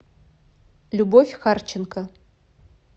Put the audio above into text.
любовь харченко